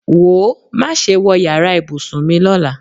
Wòó, má ṣe wọ yàrá ìbùsùn mi lọ́la!